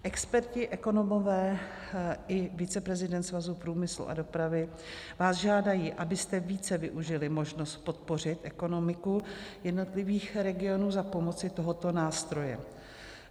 Experti, ekonomové i viceprezident Svazu průmyslu a dopravy vás žádají, abyste více využili možnost podpořit ekonomiku jednotlivých regionů za pomoci tohoto nástroje.